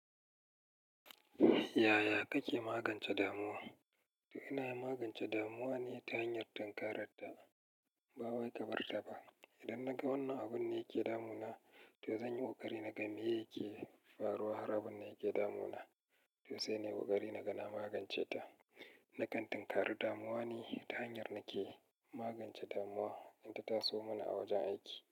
Yaya kake magance damuwa? To ina magance damuwa ne ta hanyar tunkarar ta. Ba wai ka bar ta ba. Idan naga wannan abun ne yake damunana, to zan yi ƙoƙari naga me yake faruwa har abun nan yake damuna. To sai na yi ƙoƙari naga na magance ta. Na kan tunkari damuwa ne ta hanyar nake magance damuwa in ta taso mana a wajen aiki.